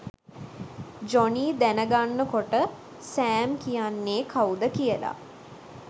Johnny දැනගන්නකොට Sam කියන්නේ කවුද කියලා